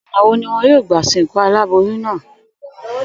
Ò̩nà wo ni wo̩n óò gbà sìnkú aláboyún náà?